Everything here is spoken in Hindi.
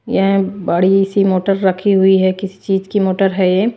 यह बड़ी सी मोटर रखी हुई है किसी चीज की मोटर है ये।